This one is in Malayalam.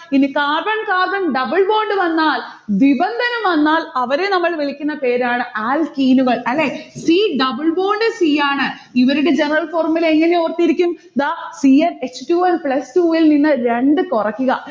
പിന്നെ carbon carbon double bond വന്നാൽ ബിബന്ധനം വന്നാൽ അവരെ നമ്മൾ വിളിക്കുന്ന പേരാണ് alkene കൾ അല്ലെ c double bond c ആണ്. ഇവരുടെ general formula എങ്ങനെ ഓർത്തിരിക്കും? ദാ c h two n plus two ൽ നിന്ന് രണ്ട് കൊറക്കുക.